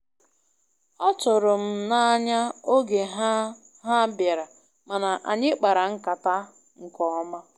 ọtụrụ m na-anya oge ha ha biara, mana anyị kpara nkata nke ọma